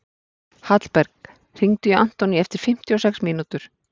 Hallberg, hringdu í Anthony eftir fimmtíu og sex mínútur.